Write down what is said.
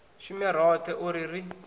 shume roṱhe u ri ri